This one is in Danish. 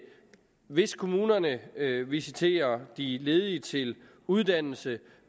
hvis kommunerne visiterer de ledige til uddannelse